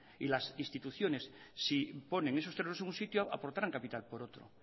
y las instituciones si ponen esos terrenos en un sitio aportaran capital por otro